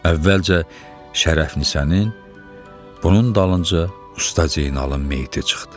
Əvvəlcə Şərəfnisənin, bunun dalınca Usta Zeynalın meyti çıxdı.